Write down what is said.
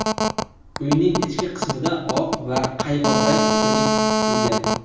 Uyning ichki qismida oq va qaymoq rang ustunlik qilgan.